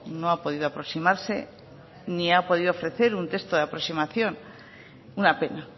no ha podido aproximarse ni ha podido ofrecer un texto de aproximación una pena